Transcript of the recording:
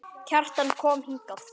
Kjartan kom hingað.